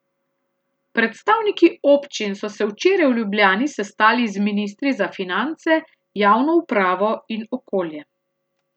Predstavniki občin so se včeraj v Ljubljani sestali z ministri za finance, javno upravo in okolje.